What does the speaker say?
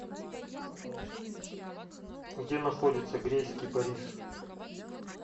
где находится грейс кипарис